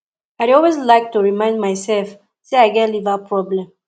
i dey always like to remind myself say i get liver problem